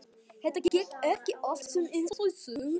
Þetta gekk allt saman eins og í sögu.